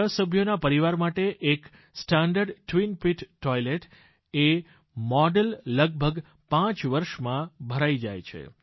છ સભ્યોના પરિવાર માટે એક સ્ટેન્ડર્ડ ટ્વિન પીટ ટોઇલેટ એ મોડલ લગભગ પાંચ વર્ષમાં ભરાઈ જાય છે